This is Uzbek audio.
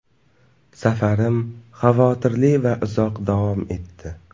Safarim xavotirli va uzoq davom etdi.